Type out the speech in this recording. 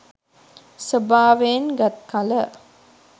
ස්වභාවයෙන් ගත් කළ